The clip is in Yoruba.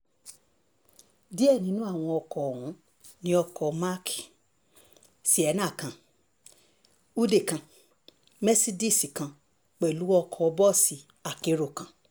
díẹ̀ nínú àwọn ọkọ̀ ọ̀hún ní ọkọ̀ ayọ́kẹ́lẹ́ mark sienna kan húdíì kan mẹ́sídíìsì kan pẹ̀lú ọkọ̀ bọ́ọ̀sì akérò kan